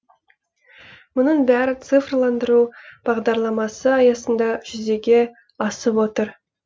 мұның бәрі цифрландыру бағдарламасы аясында жүзеге асып отыр